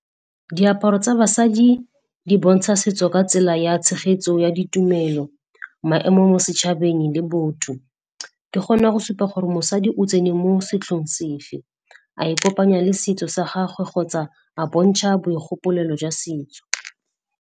Diaparo tsa basadi di bontsha setso ka tsela ya tshegetso ya ditumelo, maemo mo setšhabeng le botho. Di kgona go supa gore mosadi o tsene mo setlhong sefe, a e kopanya le setso sa gagwe kgotsa a bontšha boigopolelo jwa setso.